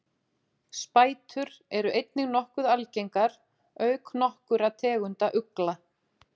spætur eru einnig nokkuð algengar auk nokkurra tegunda ugla